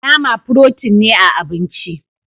Nama "protein " ne a abinci.